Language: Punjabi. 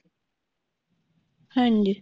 ਹਾਂਜੀ